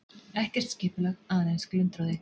Ekkert skipulag, aðeins glundroði.